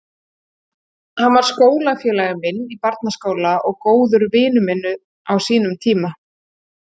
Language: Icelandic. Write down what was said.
Hann var skólafélagi minn í barnaskóla og góður vinur minn á sínum tíma.